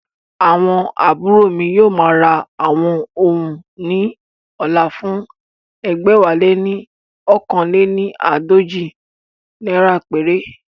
Àwọn àbúrò mi yóò ma ra àwọn oun ní ọ̀la fún ẹgbẹ̀wáléní oókan léni àádọ́jọ naira péré